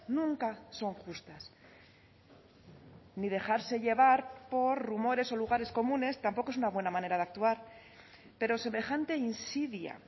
nunca son justas ni dejarse llevar por rumores o lugares comunes tampoco es una buena manera de actuar pero semejante insidia